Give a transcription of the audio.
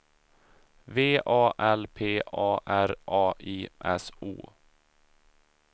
V A L P A R A I S O